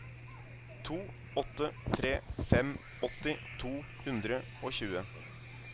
to åtte tre fem åtti to hundre og tjue